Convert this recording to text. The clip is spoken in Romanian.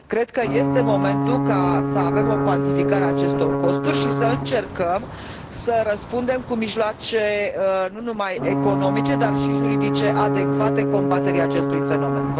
Cred că este momentul să avem o cuantificare a acestor costuri și să încercăm să răspundem cu mijloace nu numai economice, dar și juridice adecvate combaterii acestui fenomen.